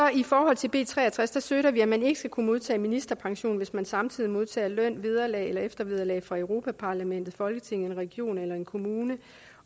i forhold til b tre og tres støtter vi at man ikke skal kunne modtage ministerpension hvis man samtidig modtager løn vederlag eller eftervederlag fra europa parlamentet folketinget en region eller en kommune